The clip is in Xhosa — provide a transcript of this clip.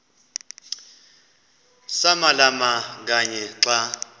samalama kanye xa